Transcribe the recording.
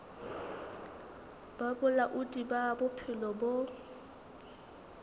ba bolaodi ba bophelo bo